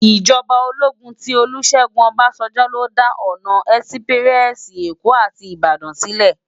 Ijòbá ólógún ti Olusegun Obasanjo ló dá òná èsipirèsi Ékó áti Ibadan silè